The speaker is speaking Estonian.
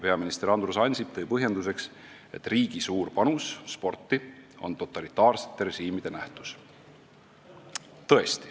Peaminister Andrus Ansip tõi põhjenduseks, et riigi suur panus sporti on totalitaarsete režiimide nähtus.